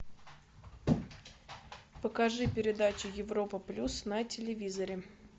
покажи передачу европа плюс на телевизоре